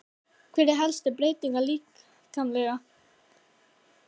Hver er helsta breytingin líkamlega?